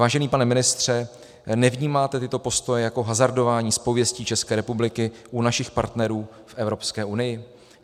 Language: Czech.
Vážený pane ministře, nevnímáte tyto postoje jako hazardování s pověstí České republiky u našich partnerů v Evropské unii?